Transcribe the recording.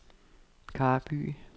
Karby